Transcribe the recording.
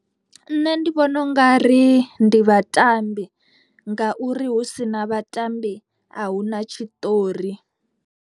Nṋe ndi vhona u nga ri ndi vhatambi ngauri hu sina vhatambi a hu na tshiṱori.